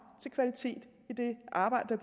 til kvalitet i det arbejde